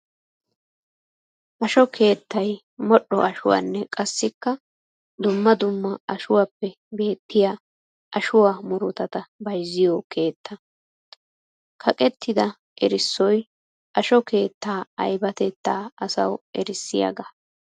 Asho keettay modhdho ashuwanne qassikka dumma dumma ashuwappe beetiya ashuwa murutatta bayzziyo keetta. Kaqettidda erissoy asho keetta aybbatetta asawu erissiyaaga.